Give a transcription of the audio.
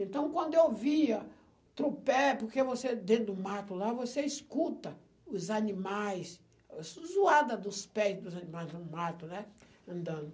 Então, quando eu via, porque você, dentro do mato lá, você escuta os animais, a dos pés dos animais no mato, né, andando.